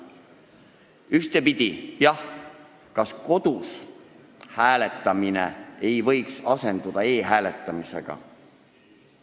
Ühtepidi, jah, kas kodus hääletamine ei võiks asenduda e-hääletamisega?